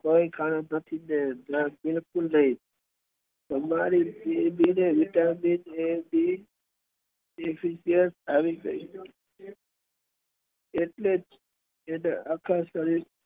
કઈ કામ નથી બેન એટલે જ અને આખા શરીર પર